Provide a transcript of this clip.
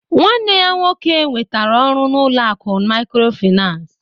Nwanne ya nwoke nwetara ọrụ n'ụlọ akụ maykrofinans